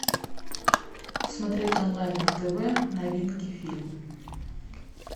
смотреть онлайн на тв новинки фильмы